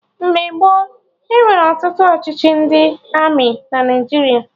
Mgbe gboo, enwere ọtụtụ ọchịchị ndị Armị na Naijiria